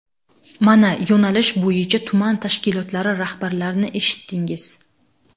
Mana yo‘nalish bo‘yicha tuman tashkilotlari rahbarlarini eshitdingiz.